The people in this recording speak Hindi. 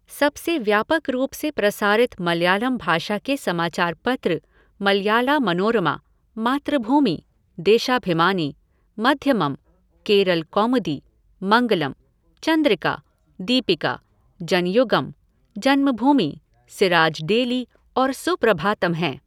सबसे व्यापक रूप से प्रसारित मलयालम भाषा के समाचार पत्र मलयाला मनोरमा, मातृभूमि, देशाभिमानी, मध्यमम्, केरल कौमुदी, मंगलम्, चंद्रिका, दीपिका, जनयुगम्, जन्मभूमि, सिराज डेली और सुप्रभातम् हैं।